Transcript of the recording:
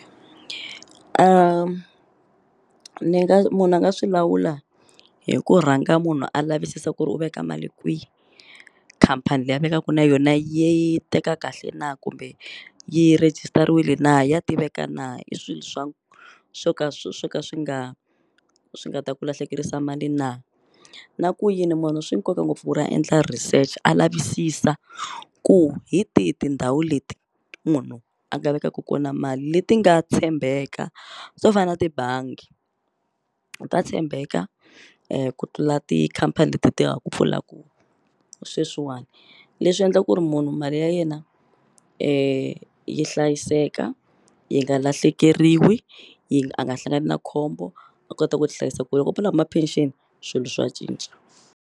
Ni nga munhu a nga swi lawula hi ku rhanga munhu a lavisisa ku ri u veka mali kwi khampani leyi a vekaku na yona yi teka kahle na kumbe yi rejistariwile na ya tiveka na i swilo swa swo ka swo ka swi nga swi nga ta ku lahlekerisa mali na na ku yini munhu swi nkoka ngopfu ku ri a endla research a lavisisa ku hi tihi tindhawu leti munhu a nga vekaku kona mali leti nga tshembeka swo fana na tibangi ta tshembeka ku tlula tikhampani leti ti nga ku pfulaku sweswiwani leswi endla ku ri munhu mali ya yena yi hlayiseka yi nga lahlekeriwi yi a nga hlangani na khombo a kota ku hlayisa ko loko a fane a huma pension swilo swa cinca.